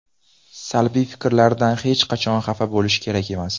Salbiy fikrlardan hech qachon xafa bo‘lish kerak emas.